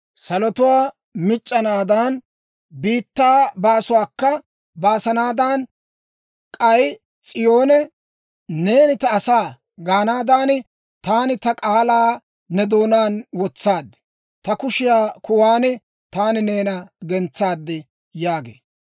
Salotuwaa mic'c'anaadan, biittaa baasuwaakka baasanaadan, k'ay S'iyoone, ‹Neeni ta asa› gaanaadan, taani ta k'aalaa ne doonaan wotsaad; ta kushiyaa kuwan taani neena gentsaad» yaagee.